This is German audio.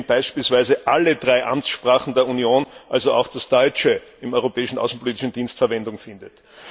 indem beispielsweise alle drei Arbeitssprachen der Union, also auch das Deutsche, im Europäischen Auswärtigen Dienst Verwendung finden.